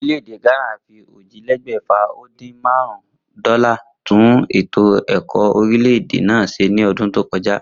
Orílè̩-èdè Gánà fi ójìlélé̩gbè̩fà-o-din-márún-ún dó̩là tún ètò è̩kó̩ orílè̩-èdè náà s̩e ní o̩dún tó ko̩já